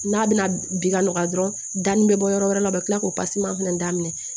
N'a bɛna bi ka nɔgɔya dɔrɔn da nin bɛ bɔ yɔrɔ wɛrɛ la u bɛ kila k'o fana daminɛ